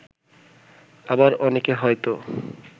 আবার অনেকে হয়তো